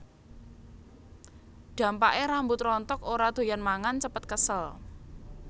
Dampaké rambut rontok ora doyan mangan cepet kesel